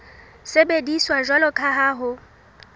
sebediswa jwalo ka ha ho